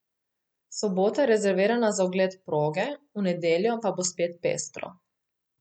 Sobota je rezervirana za ogled proge, v nedeljo pa bo spet pestro.